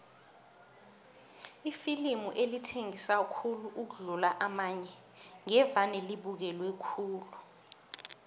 iflimu elithengisa khulu ukudlula amanye ngevane libukelwe khulu